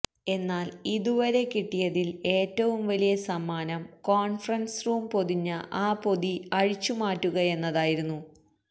എന്നാല് ഇതുവരെ കിട്ടിയതില് ഏറ്റവും വലിയ സമ്മാനം കോണ്ഫറന്സ് റൂം പൊതിഞ്ഞ ആ പൊതി അഴിച്ചുമാറ്റുകയെന്നതായിരുന്നു